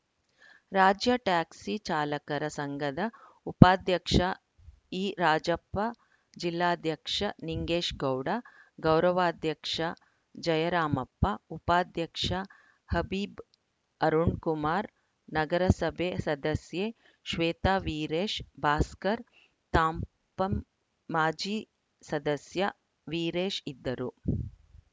ರಾಜ್ಯ ಟ್ಯಾಕ್ಸಿ ಚಾಲಕರ ಸಂಘದ ಉಪಾಧ್ಯಕ್ಷ ಇರಾಜಪ್ಪ ಜಿಲ್ಲಾಧ್ಯಕ್ಷ ನಿಂಗೇಶ್‌ಗೌಡ ಗೌರವಾಧ್ಯಕ್ಷ ಜಯರಾಮಪ್ಪ ಉಪಾಧ್ಯಕ್ಷ ಹಬೀಬ್‌ ಅರುಣ್‌ಕುಮಾರ್‌ ನಗರಸಭೆ ಸದಸ್ಯೆ ಶ್ವೇತ ವೀರೇಶ್‌ ಭಾಸ್ಕರ್‌ ತಾಂಪಂ ಮಾಜಿ ಸದಸ್ಯ ವೀರೇಶ್‌ ಇದ್ದರು